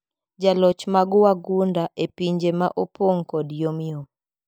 Joloch mag wagunda ,epinje maopong kod yomyom.